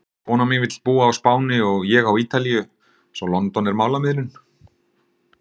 Konan mín vill búa á Spáni og ég á Ítalíu svo London er málamiðlun!